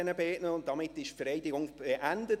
Damit ist die Vereidigung beendet.